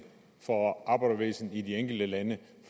for arbejderbevægelsen i de enkelte lande